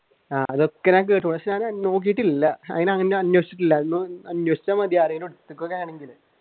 ആഹ് അതൊക്കെ ഞാൻ കേട്ടൂ പക്ഷെ ഞാൻ നോക്കിട്ടില്ല അങ്ങനെ അന്വേഷിച്ചിട്ടില്ല